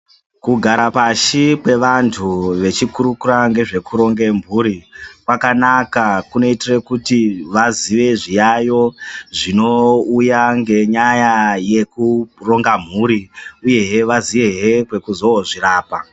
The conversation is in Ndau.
Kugara pashi kwevantu vechikurukura nezvekuronga mhuri kwakanaka kunoitira kuti vazive zviyayo zvinouya nenyaya yekuronga mhuri uye he vaziyezve kwekuzoozvirapa.